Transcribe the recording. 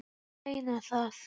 Ég meina það!